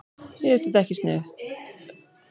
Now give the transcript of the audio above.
Mér finnst þetta ekki siðlegt.